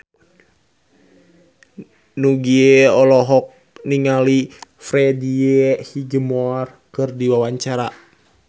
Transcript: Nugie olohok ningali Freddie Highmore keur diwawancara